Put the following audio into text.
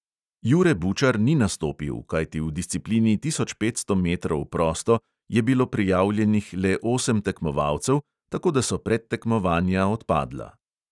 Jure bučar ni nastopil, kajti v disciplini tisoč petsto metrov prosto je bilo prijavljenih le osem tekmovalcev, tako da so predtekmovanja odpadla.